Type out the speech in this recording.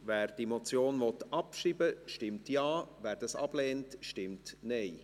Wer die Motion abschreiben will, stimmt Ja, wer dies ablehnt, stimmt Nein.